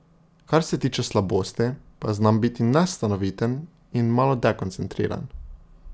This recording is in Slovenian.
Kar se tiče slabosti, pa znam biti nestanoviten in malo dekoncentriran.